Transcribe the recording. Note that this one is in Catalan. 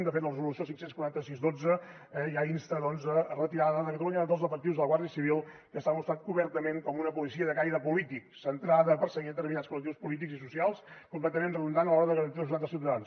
de fet la resolució cinc cents i quaranta sis xii ja insta doncs a la retirada de catalunya de tots els efectius de la guàrdia civil que s’ha mostrat obertament com una policia de caire polític centrada a perseguir determinats col·lectius polítics i socials completament redundant a l’hora de garantir la seguretat dels ciutadans